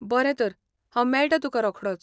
बरें तर हांव मेळटा तुकां रोखडोच .